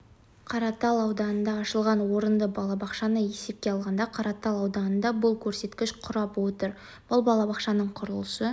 қаратал ауданында ашылған орынды балабақшаны есепке алғанда қаратал ауданында бұл көрсеткіш құрап отыр бұл балабақшаның құрылысы